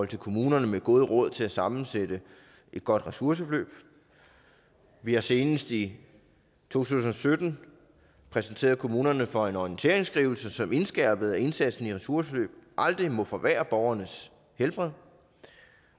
til kommunerne med gode råd til at sammensætte et godt ressourceforløb vi har senest i to tusind og sytten præsenteret kommunerne for en orienteringsskrivelse som indskærpede at indsatsen i ressourceforløb aldrig må forværre borgernes helbred